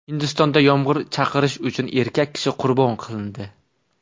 Hindistonda yomg‘ir chaqirish uchun erkak kishi qurbon qilindi.